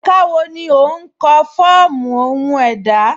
Ẹ̀ká wọ́ ní o nkọ̀ ni fọọmu ọhun èdá?